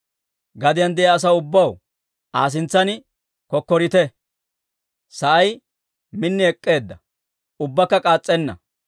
Gadiyaan de'iyaa asaw ubbaw, Aa sintsan kokkorite. Sa'ay min ek'k'eedda; ubbakka k'aas's'enna.